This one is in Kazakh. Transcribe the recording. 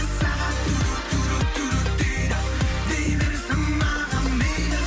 сағат дейді дей берсін маған мейлі